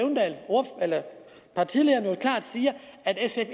partilederen klart siger at sf